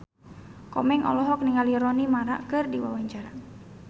Komeng olohok ningali Rooney Mara keur diwawancara